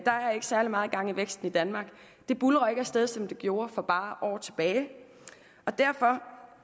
særlig meget gang i væksten i danmark det buldrer ikke af sted som det gjorde for bare år tilbage og derfor